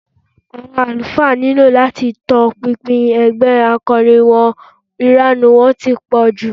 Àwọn àlùfáà nílò láti tọpinpin ẹgbẹ́ akọrin wọn, ìranù wọn ti pọ̀ jù